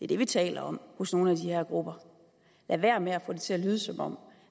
det vi taler om hos nogle af de her grupper lad være med at få det til at lyde som om